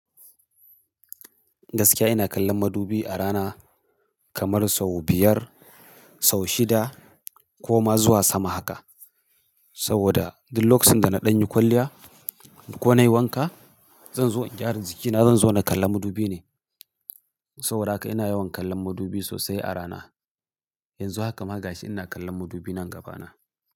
Gaskiya ina kallon madubi a rana kamar sau biyar, sau shida ko ma zuwa sama haka. Saboda duk lokacin da na ɗanyi kwalliya ko na yi wanka, zan zo in gyara jikina, zan zo na kalla madubi ne. Saboda haka ina yawan kallon madubi sosai a rana. Yanzu haka ma gashi ina kallon madubi nan gaba na.